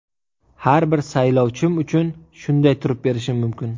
Har bir saylovchim uchun shunday turib berishim mumkin.